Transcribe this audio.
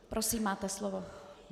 Prosím, máte slovo.